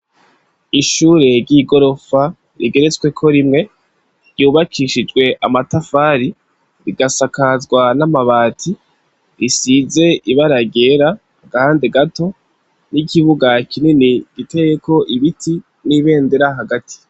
Ishure ry'igorofa rigeretsweko rimwe ryubakishijwe amatafari rigasakazwa n'amabati, risize ibara ryera, agahande gato n'ikibuga kinini giteyeko ibiti n'ibendera hagati.